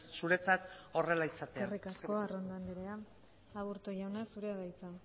zuretzat horrela izatea eskerrik asko arrondo andrea aburto jauna zurea da hitza